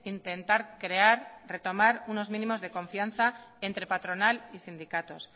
intentar crear retomar unos mínimos de confianza entre patronal y sindicatos